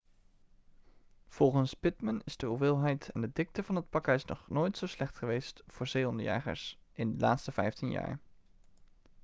volgens pittman is de hoeveelheid en de dikte van het pakijs nog nooit zo slecht geweest voor zeehondenjagers in de laatste vijftien jaar